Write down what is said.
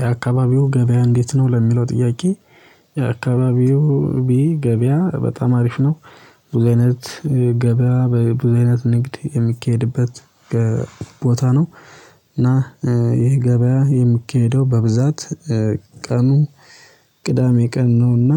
የአካባቢው ገበያ እንዴት ነው? ለሚለው ጥያቄ የአካባቢው ገበያ በጣም አሪፍ ነው ብዙ አይነት ገበያ በብዙ አይነት ንግድ የሚካሄድበት ቦታ ነው እና ይሄ ገበያ የምኬደው በብዛት ቀኑ ቅዳሜ ቀን ነውና